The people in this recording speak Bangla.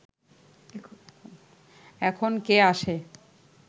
এখন কে আসে